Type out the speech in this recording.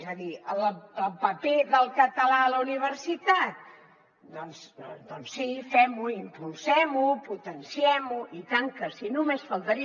és a dir el paper del català a la universitat doncs sí fem ho impulsem ho potenciem ho i tant que sí només faltaria